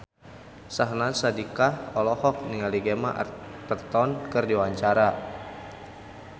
Syahnaz Sadiqah olohok ningali Gemma Arterton keur diwawancara